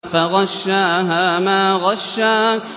فَغَشَّاهَا مَا غَشَّىٰ